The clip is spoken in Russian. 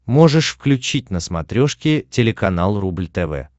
можешь включить на смотрешке телеканал рубль тв